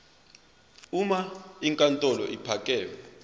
uma inkantolo ephakeme